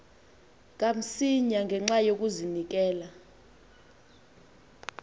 kamsinya ngenxa yokazinikela